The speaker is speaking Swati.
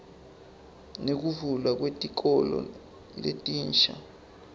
nekuvulwa kwetikolo letinsha